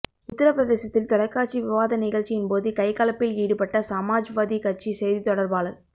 உத்தர பிரதேசத்தில் தொலைக்காட்சி விவாத நிகழ்ச்சியின் போது கைகலப்பில் ஈடுபட்ட சமாஜ்வாதி கட்சி செய்தித்தொடர்பாளர்